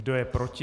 Kdo je proti?